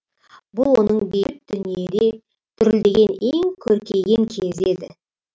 бұл оның бейбіт дүниеде дүрілдеген ең көркейген кезі еді